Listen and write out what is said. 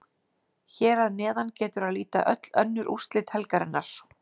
Hér að neðan getur að líta öll önnur úrslit helgarinnar.